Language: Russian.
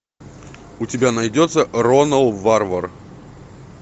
у тебя найдется ронал варвар